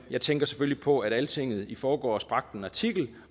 jeg tænker selvfølgelig på at altinget i forgårs bragte en artikel